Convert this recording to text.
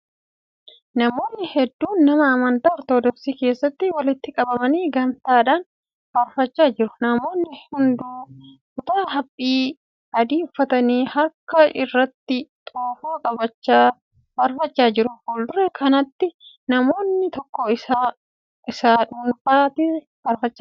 Namoonni hedduun mana amantaa Ortoodooksii keessatti walitti qabamanii gamtaadhaan faarfachaa jiru. Namoonni hunduu kutaa haphii adii uffatanii harka irratti xoofoo ibsachaa faarfachaa jiru. Fuuldura kanatti namni tokko ija isaa dunuunfatee faarfachaa jira.